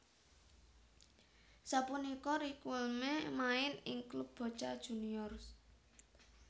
Sapunika Riquelme main ing klub Boca Juniors